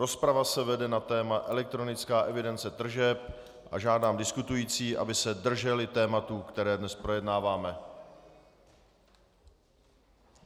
Rozprava se vede na téma elektronická evidence tržeb a žádám diskutující, aby se drželi tématu, které dnes projednáváme.